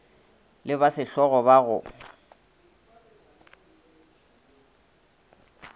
le ba sehlogo ba go